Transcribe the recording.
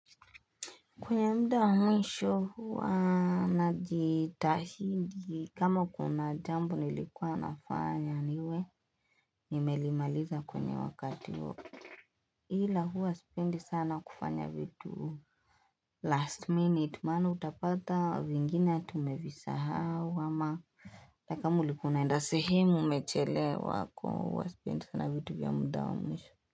Kwenye muda wa mwisho huwa najitahidi kama kuna jambo nilikuwa nafanya niwe nimelimaliza kwenye wakati huo ila huwa sipendi sana kufanya vitu Last minute maana utapata vingine tumevisahau ama na kama ulikuwa unaenda sehemu umechelewa kwa hiyo huwa sipendi sana vitu vya muda wa mwisho.